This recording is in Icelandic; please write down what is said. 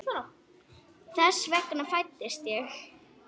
Þess vegna fæddist ég.